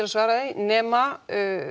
að svara þér nema